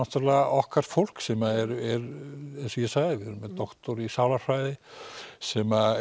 okkar fólk sem er eins og ég sagði við erum með doktor í sálarfræði sem